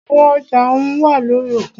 Àwọn ọjà ohùn wá lórí òkun.